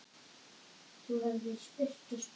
Þú hefðir spurt og spurt.